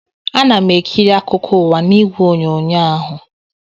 Ana m ekiri akụkọ ụwa n'igwe onyonyo ahụ